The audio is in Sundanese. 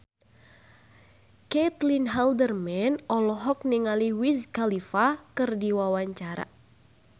Caitlin Halderman olohok ningali Wiz Khalifa keur diwawancara